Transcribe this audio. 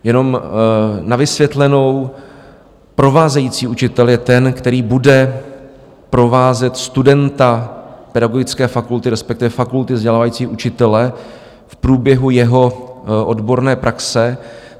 Jenom na vysvětlenou, provázející učitel je ten, který bude provázet studenta pedagogické fakulty, respektive fakulty vzdělávající učitele, v průběhu jeho odborné praxe.